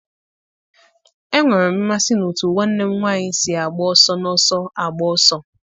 Enwere m mmasị n'otú nwanne m nwanyị si agba ọsọ n'ọsọ agba ọsọ.